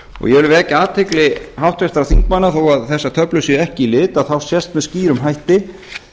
vil vekja athygli háttvirtra þingmanna á að þó að þessar töflur séu ekki í lit sést með skýrum hætti